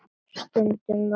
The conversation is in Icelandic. Stundum var